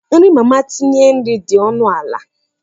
Nri mama tinye nri dị ọnụ ala.